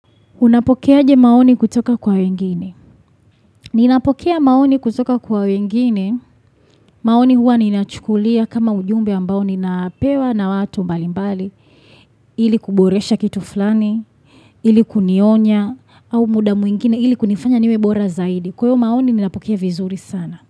Unapokea aje maoni kutoka kwa wengine. Ninapokea maoni kutoka kwa wengine. Maoni huwa ninachukulia kama ujumbe ambao ninapewa na watu mbali mbali. Ili kuboresha kitu fulani. Ili kunionya. Au muda mwingine. Ili kunifanya niwebora zaidi. Kwa hiyo maoni ninapokea vizuri sana.